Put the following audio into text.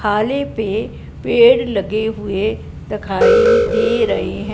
हाले पे पेड़ लगे हुए दखाई दे रहे--